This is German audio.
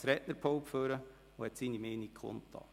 Er ist ans Rednerpult gegangen und hat seine Meinung kundgetan.